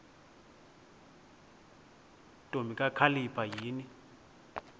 ntombi kakhalipha yini